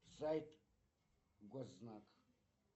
сайт госзнак